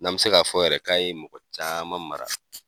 N'a mi se k'a fɔ yɛrɛ, k'a ye mɔgɔ caman mara